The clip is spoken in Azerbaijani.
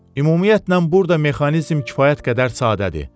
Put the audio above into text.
Ümumiyyətlə burda mexanizm kifayət qədər sadədir.